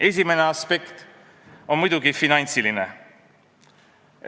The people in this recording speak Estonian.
Esimene aspekt on muidugi finantsiline.